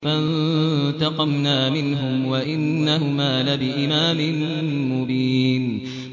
فَانتَقَمْنَا مِنْهُمْ وَإِنَّهُمَا لَبِإِمَامٍ مُّبِينٍ